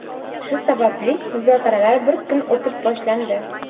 shu sababli muzokaralar bir kun o‘tib boshlandi.